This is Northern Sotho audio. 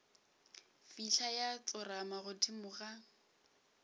fihla ya tsorama godimo ga